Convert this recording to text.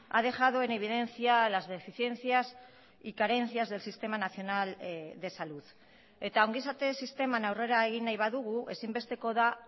ha dejado en evidencia a las deficiencias y carencias del sistema nacional de salud eta ongizate sisteman aurrera egin nahi badugu ezinbestekoa da